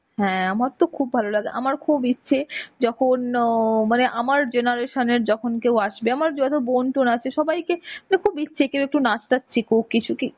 হ্যাঁ আমারতো খুব ভালো লাগে. আমার তো ইচ্ছে, যখন ও ও মানে আমার generation এর যখন কেউ আসবে, আমার যেহেতু বোন টোন আছে সবাইকে মানে খুব ইচ্ছে কেউ একটু নাচ টাচ শিখুক কিছুকি